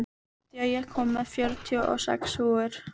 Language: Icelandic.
Nadia, ég kom með fjörutíu og sex húfur!